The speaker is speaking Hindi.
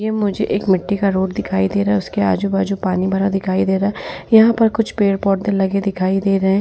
ये मुझे एक मिट्टी का रोड दिखाई दे रहा है। उसके आजु- बाजू पानी भरा दिखाई दे रहा है। यहां पर कुछ पेड़-पौधे लगे हुए दिखाई दे रहे हैं।